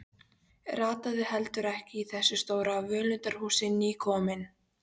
Rataði heldur ekki í þessu stóra völundarhúsi, nýkominn.